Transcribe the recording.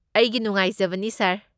ꯑꯩꯒꯤ ꯅꯨꯡꯉꯥꯏꯖꯕꯅꯤ ꯁꯥꯔ꯫